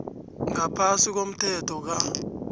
ngaphasi komthetho ka